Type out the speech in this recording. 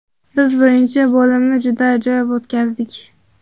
Biz birinchi bo‘limni juda ajoyib o‘tkazdik.